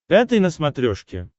пятый на смотрешке